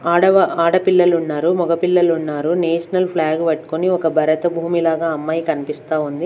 ఆడవా ఆడపిల్లలున్నారు మగ పిల్లలున్నారు నేషనల్ ఫ్లాగ్ వట్కుని ఒక భరతభూమి లాగా అమ్మాయి కన్పిస్తా ఉంది.